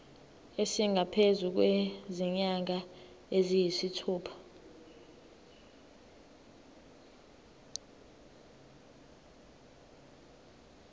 esingaphezu kwezinyanga eziyisithupha